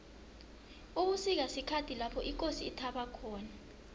ubusika sikhathi lapho ikosi ithaba khona